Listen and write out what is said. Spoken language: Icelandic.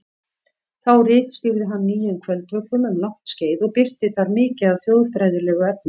Þá ritstýrði hann Nýjum kvöldvökum um langt skeið og birti þar mikið af þjóðfræðilegu efni.